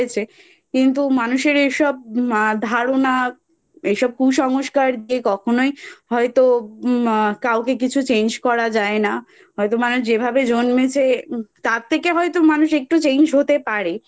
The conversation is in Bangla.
কিন্তু মানুষের এসব এ ধারণা এসব কুসংস্কারকে কখনোই হয়তো মা কাউকে কিছু Change করা যায় না হয়তো মানুষ যেভাবে জন্মেছে তার থেকে হয়তো মানুষ একটু Change হতে পারে